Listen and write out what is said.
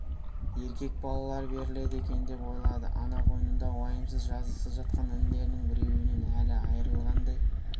еркек балалар беріледі екен деп ойлады ана қойнында уайымсыз жазықсыз жатқан інілерінің біреуінен әлі айрылғандай